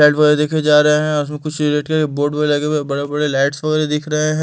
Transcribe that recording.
वाले देखे जा रहे हैं उसम कुछ बोर्ड वाले बड़े-बड़े लाइट्स वाले दिख रहे हैं।